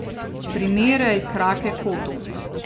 Primerjaj krake kotov.